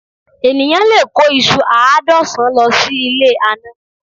Eniyan lè kó ìṣù àádọ́sán lọ sí ilé àná